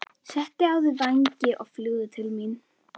Settu á þig vængina og fljúgðu til mín.